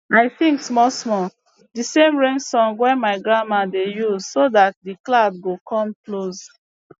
i sing smallsmall the same rain song wey my grandma dey use so that the clouds go come close